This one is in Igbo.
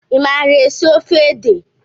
I maara esi ofe ede?